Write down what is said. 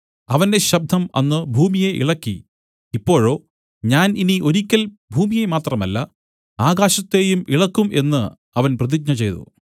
അവന്റെ ശബ്ദം അന്ന് ഭൂമിയെ ഇളക്കി ഇപ്പോഴോ ഞാൻ ഇനി ഒരിക്കൽ ഭൂമിയെ മാത്രമല്ല ആകാശത്തെയും ഇളക്കും എന്നു അവൻ പ്രതിജ്ഞ ചെയ്തു